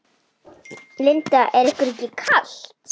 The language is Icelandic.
Linda: Er ykkur ekki kalt?